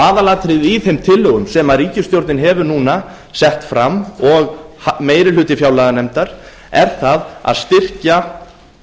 aðalatriðið í þeim tillögum sem ríkisstjórnin hefur núna sett fram og meiri hluti fjárlaganefndar er það að styrkja